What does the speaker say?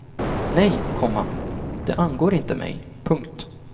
Nej, komma det angår inte mig. punkt